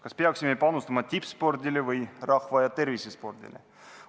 Kas peaksime panustama tippspordile või rahva- ja tervisespordile?